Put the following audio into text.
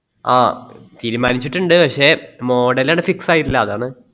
ആ തീരുമാനിച്ചിട്ടുണ്ട് പക്ഷെ model അങ്ങട്ട് fix ആയിട്ടില്ല അതാണ്